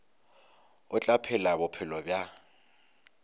o tla phela bophelo bja